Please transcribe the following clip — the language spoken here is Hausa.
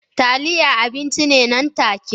Taliya abinci ne nan take